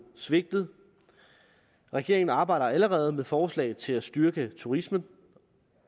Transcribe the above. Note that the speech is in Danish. svigtet regeringen arbejder allerede med forslag til at styrke turismen